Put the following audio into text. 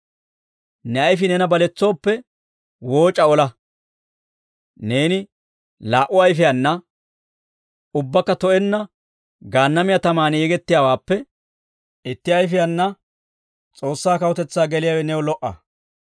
Ne ayfii neena baletsooppe, wooc'a ola; neeni laa"u ayfiyaana ubbakka to'enna Gaannamiyaa tamaan yegettiyaawaappe, itti ayfiyaana S'oossaa kawutetsaa geliyaawe new lo"a.